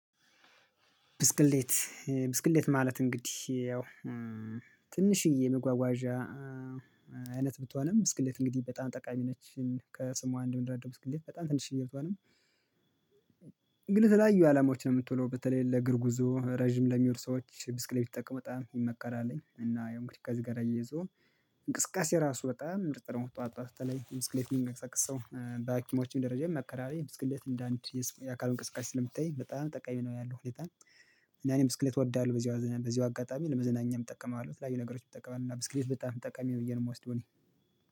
ብስክሌት። ብስክሌት ማለት እንግዲህ ያው ትንሽዬ መጓጓዣ አይነት ብትሆንም ብስክሌት እንግዲህ በጣም ጠቃሚ ነች ከስሟ አንደምንረዳው ብስክሌት በጣም ትንሽዬ ብትሆንም ግን የተለያዩ አላማዎች ነው የምትውለው በተለይ ለእግርጉዞ ረጅም ለሚሄዱ ሰዎች ብስክሌት ቢጠቀሙ በጣም ይመከራልኝ እና ያው እንግዲህ ከዚህ ጋር አያይዞ እንቅስቃሴ ራሱ በጣም ምርጥ ነው። ጠዋት በተለይ ምስክሌት የሚነቃቀሰው የሚንቀሳቀሰው በሀኪሞችም ደረጃ ይመከራል ብስክሌት እንደ አንድ የአካል እንቅስቃሴ ስለሚታይ በጣም ጠቃሚ ነው። ያለው ሁኔታ ምናምን ብስክሌት እወዳለሁ። በዚህ በዚህ አጋጣሚ ለመዝናኛም እጠቀማለሁ ለተለያዩ ነገሮች እጠቀማለሁ እና ብስክሌት በጣም ጠቃሚ ነው ብዬ ነው የምወስደው እኔ